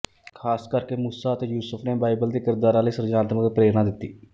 ਖ਼ਾਸ ਕਰਕੇ ਮੂਸਾ ਅਤੇ ਯੂਸੁਫ਼ ਨੇ ਬਾਈਬਲ ਦੇ ਕਿਰਦਾਰਾਂ ਲਈ ਸਿਰਜਣਾਤਮਕ ਪ੍ਰੇਰਨਾ ਦਿੱਤੀ